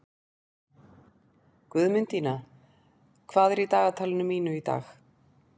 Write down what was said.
Guðmundína, hvað er í dagatalinu mínu í dag?